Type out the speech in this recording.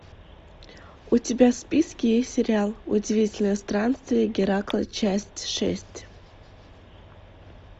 у тебя в списке есть сериал удивительные странствия геракла часть шесть